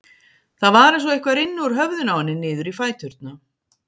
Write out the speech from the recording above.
Það var eins og eitthvað rynni úr höfðinu á henni niður í fæturna.